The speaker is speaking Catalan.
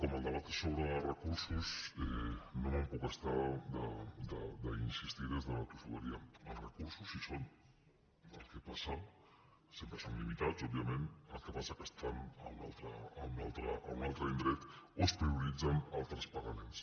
com que el debat és sobre recursos no me’n puc estar d’insistir hi des de la tossuderia els recursos hi són el que passa sempre són limitats òbviament que estan a un altre indret o es prioritzen altres pagaments